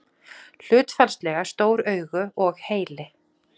Hlutfallslega stór augu og heili.